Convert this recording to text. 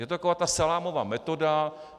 Je to taková ta salámová metoda.